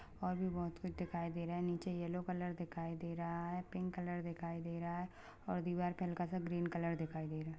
और भी बहुत कुछ दिखाई दे रहा है नीचे येलो कलर दिखाई दे रहा है पिंक कलर दिखाई दे रहा है और दीवार पे हल्का- सा ग्रीन कलर दिखाई दे रहा हैं।